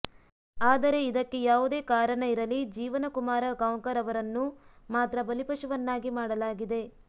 ಆದರೆ ಇದಕ್ಕೆ ಯಾವುದೇ ಕಾರನ ಇರಲಿ ಜೀವನಕುಮಾರ ಗಾಂವ್ಕರ ಅವರನ್ನು ಮಾತ್ರ ಬಲಿಪಶುವನ್ನಾಗಿ ಮಾಡಲಾಗಿದೆ